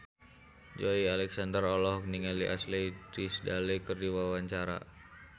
Joey Alexander olohok ningali Ashley Tisdale keur diwawancara